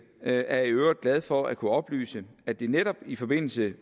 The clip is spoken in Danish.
er jeg i øvrigt glad for at kunne oplyse at det netop i forbindelse